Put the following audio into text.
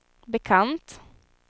bekant